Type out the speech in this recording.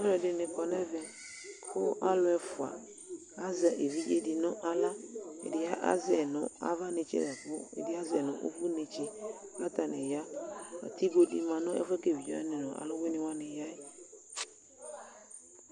aluɛdɩ za nʊ ɛmɛ, kʊ alʊ ɛfua azɛ evidze dɩ nʊ aɣla, ɛdɩ azɛ yi nʊ ava netse la kʊ ɛdɩ ta azɛ yi nʊ ʊvʊ, kʊ atanɩ ya, atigo dɩ ma nʊ ɛfʊ yɛ bua kʊ evidzewanɩ nʊ alʊwɩnɩwanɩ ya yɛ